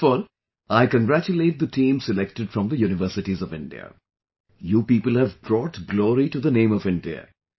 First of all, I congratulate the team selected from the universities of India... you people have brought glory to the name of India